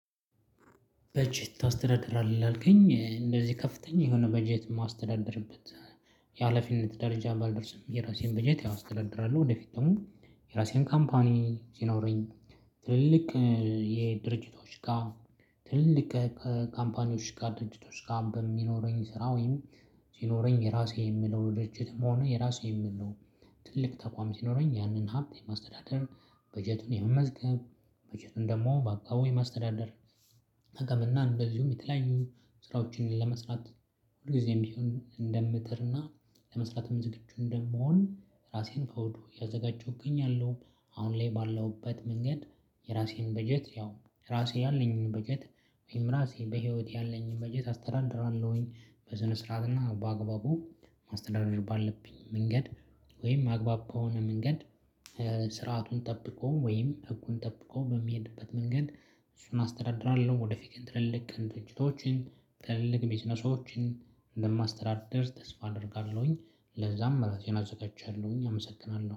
በጀት ታስተዳድራለህ ይላል ግን እንደዚህ ከፍተኛ የሆነ በጀት የማስተዳድርበት የሀላፊነት ደረጃ ባልደርስም የራሴን በጀት ያው አስተዳድራለሁ። ወደፊት ደግሞ የራሴን ካምፓኒ ሲኖረኝ። የድርጅቶች ጋር ትልልቅ ካምፓኒዎች ጋር ድርጅቶች ጋር በሚኖረኝ ስራ ወይም ሲኖረኝ የራሴ የምለው ድርጅትም ሆነ የራሴ የምለው ትልቅ ተቋም ሲኖረኝ ያንን ሀብት የማስተዳደር በጀቱን የመመዝገብ በጀቱን ደግሞ በአግባቡ የማስተዳደር ጥቅምና እንደዚሁም የተለያዩ ስራዎችን ለመስራት ሁልጊዜም ቢሆን እንደምጥርና ለመስራትም ዝግጁ እንደምሆን ራሴን ከወዲሁ እያዘጋጀሁኝ እገኛለሁ። አሁን ላይ ባለውበት መንገድ የራሴን በጀት ያው ራሴ ያለኝን በጀት ወይም ራሴ በህይወት ያለኝን በጀት አስተዳድራለሁኝ። በስነ ስርዓት እና በአግባቡ ማስተዳደር ባለብኝ መንገድ ወይም አግባብ ከሆነ መንገድ ስርዓቱን ጠብቆ ወይም ህጉን ጠብቆ በሚሄድበት መንገድ እሱን አስተዳድራለሁ። ወደ ፊት ትልልቅ ድርጅቶችን ትልልቅ ቢዝነሶችን እንደማስተዳደር ተስፋ አደርጋለሁኝ። ለዛም ራሴን አዘጋጃለሁኝ አመሰግናለሁ